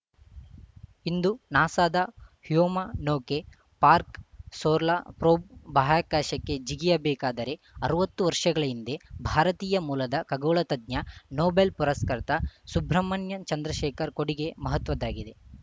ಇಂದು ನಾಸಾದ ಹ್ಯುಮಾ ನೌಕೆ ಪಾರ್ಕ ಸೋರ್ಲಾ ಪ್ರೋಬ್‌ ಬಾಹ್ಯಾಕಾಶಕ್ಕೆ ಜಿಗಿಯ ಬೇಕಾದರೆ ಅರವತ್ತು ವರ್ಷಗಳ ಹಿಂದೆ ಭಾರತೀಯ ಮೂಲದ ಖಗೋಳತಜ್ಞ ನೊಬೆಲ್‌ ಪುರಸ್ಕೃತ ಸುಬ್ರಮಣ್ಯನ್‌ ಚಂದ್ರಶೇಖರ್‌ ಕೊಡುಗೆ ಮಹತ್ವದ್ದಾಗಿದೆ